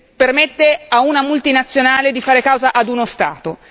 Permette a una multinazionale di fare causa ad uno Stato.